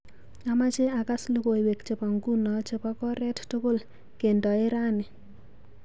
Amache akas logoiwek chebo ngunoo chebo koret tukul kendoee rani.